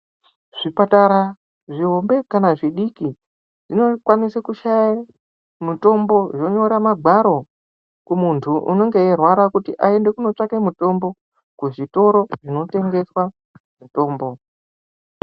Zvipatara zvihombe kana zvidiki zvinokwanise kushaye mutombo zvonyora magwaro kumuntu unenge eirwara kuti aende kunotsvake kuzvitoro zvinotengeswa mitombo.